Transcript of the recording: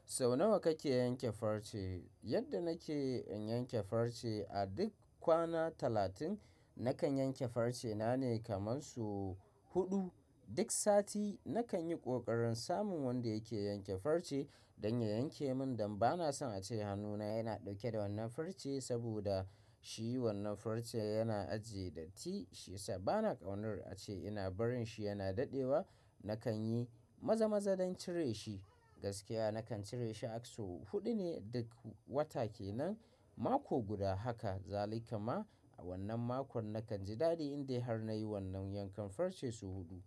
Sau nawa kake yanke farce? Yadda nake in yanke farce, a duk kwana talatin nakan yanke farce na ne kaman sau huɗu. Duk sati nakan yi ƙoƙarin samun wanda yake yanke farce don ya yanke min dan bana son a ce hannuna yana ɗauke da wannan farce saboda shi wannan farce yana ajiye datti. Shiyasa bana ƙaunar a ce ina barin shi yana daɗewa. Nakan yi maza-maza don cire shi. Gaskiya nakan cire shi a sau huɗu ne duk wata ke nan. Mako guda haka zalika ma. A wannan makon na kan ji daɗi in dai har na yi wannan yankan farce sau huɗu.